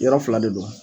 Yɔrɔ fila de don